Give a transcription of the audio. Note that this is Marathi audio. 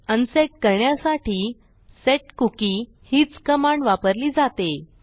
अनसेट करण्यासाठी सेटकुकी हीच कमांड वापरली जाते